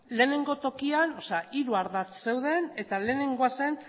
lehenengo tokian hiru ardatz zeuden eta lehenengoa zen